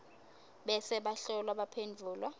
bese bahlolwa baphendvula